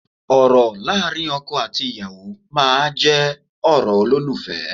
Ọ̀rọ̀ láàrin ọkọ àti ìyàwó máa jẹ́ ọ̀rọ̀ olólùfẹ́